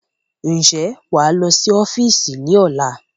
Ń jẹ́ wá lọ sí ọ́fíìsì ni ọ̀la?